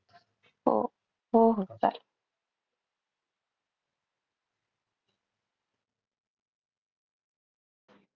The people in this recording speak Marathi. हो. हो हो चालेल.